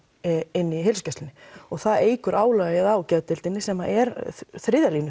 inn í heilsugæslunni og það eykur álagið á geðdeildina sem er þriðja